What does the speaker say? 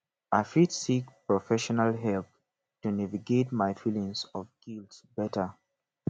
i fit seek professional help to navigate my feelings of guilt better